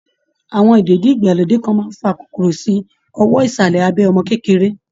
Àwọn ìdèdí-ìgbàlódé kan máa ń fa kòkòrò sí owọ́ ìsàlẹ̀ abẹ́ ọmọ kékeré